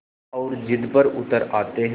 और ज़िद पर उतर आते हैं